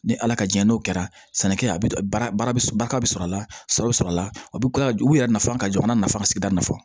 Ni ala ka diɲɛ n'o kɛra sɛnɛkɛ a bi baara bɛ sɔrɔ a la sɔrɔ bɛ sɔrɔ a la u bɛ kila ka u yɛrɛ nafa ka jɔ jamana nafa ka sigida nafa